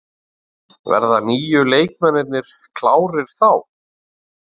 Verða nýju leikmennirnir klárir þá?